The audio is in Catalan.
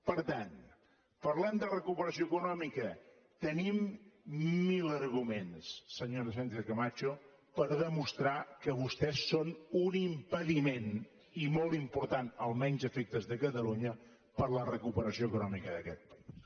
per tant parlem de recuperació econòmica tenim mil arguments senyora sánchez camacho per demostrar que vostès són un impediment i molt important almenys a efectes de catalunya per a la recuperació econòmica d’aquest país